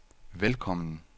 velkommen